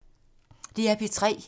DR P3